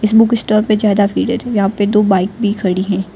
Book stall पर ज्यादा भीड़ है तो यहां पे दो बाइक भी खड़ी हैं।